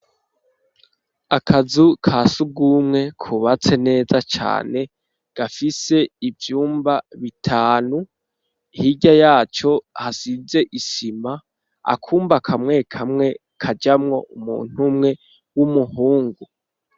Akazu kasugumwe kubatse neza cane gafise ivyumba bitanu hirya yaco hasize isima, akumba kamwe kamwe kajamwo umuntu umwe w'umuhungu.